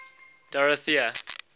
dorothea